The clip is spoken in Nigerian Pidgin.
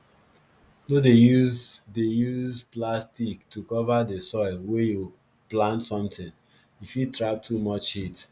no dey use dey use plastic to cover di soil wey you plant something e fit trap too much heat